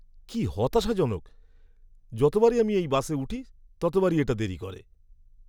কী হতাশাজনক! যতবারই আমি এই বাসে উঠি, ততবারই এটা দেরি করে।